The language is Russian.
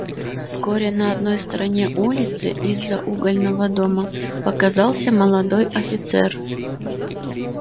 вскоре на одной стороне улицы из-за угольного дома показался молодой офицер